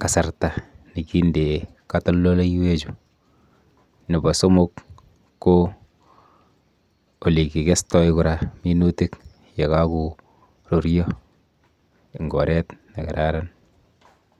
kasarta nekindee katoldoleiwechu. Nepo somok ko olekikestoi kora minutik yekakoruryo eng oret nekararan.